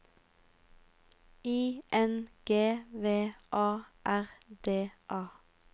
I N G V A R D A